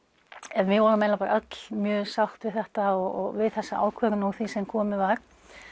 en við vorum eiginlega bara öll mjög sátt við þetta og við þessa ákvörðun úr því sem komið var